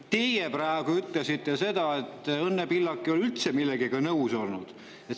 Teie praegu ütlesite seda, et Õnne Pillak ei ole üldse millegagi nõus olnud.